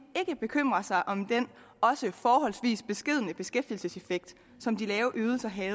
ikke bekymrer sig om den også forholdsvis beskedne beskæftigelseseffekt som de lave ydelser havde